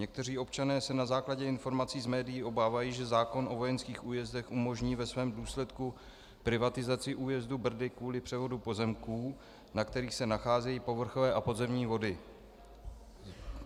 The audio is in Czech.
Někteří občané se na základě informací z médií obávají, že zákon o vojenských újezdech umožní ve svém důsledku privatizaci újezdu Brdy kvůli převodu pozemků, na kterých se nacházejí povrchové a podzemní vody.